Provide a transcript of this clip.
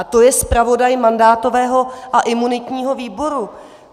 A to je zpravodaj mandátového a imunitního výboru.